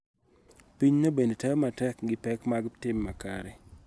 Pinyno bende temo matek gi pek mag tim makare